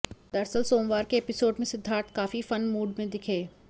दरअसल सोमवार के एपिसोड में सिद्धार्थ काफी फन मूड में दिखे